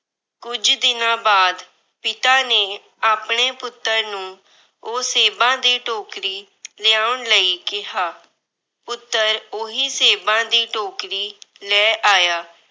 ਕੁਝ ਦਿਨਾਂ ਬਾਅਦ ਪਿਤਾ ਨੇ ਆਪਣੇ ਪੁੱਤਰ ਨੂੰ ਉਹ ਸੇਬਾਂ ਦੀ ਟੋਕਰੀ ਲਿਆਉਣ ਲਈ ਕਿਹਾ। ਪੁੱਤਰ ਉਹੀ ਸੇਬਾਂ ਦੀ ਟੋਕਰੀ ਲੈ ਆਇਆ।